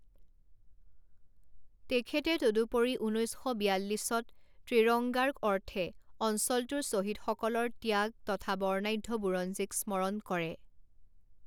তেখেতে তদুপৰি ঊনৈছ শ বিয়াল্লিছত ত্ৰিৰংগাৰ অৰ্থে অঞ্চলটোৰ শ্বহীদসকলৰ ত্যাগ তথা বৰ্ণাঢ্য বুৰঞ্জীক স্মৰণ কৰে।